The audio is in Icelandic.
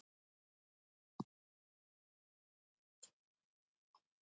Ferðamannabærinn er í rústum